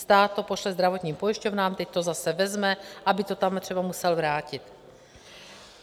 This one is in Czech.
Stát to pošle zdravotním pojišťovnám, teď to zase vezme, aby to tam třeba musel vrátit.